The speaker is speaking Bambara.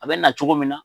A bɛ na cogo min na